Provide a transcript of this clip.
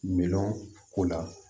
Minɛn ko la